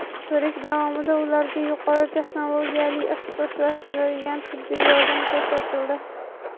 Ko‘rik davomida ularga yuqori texnologiyali ixtisoslashtirilgan tibbiy yordam ko‘rsatildi.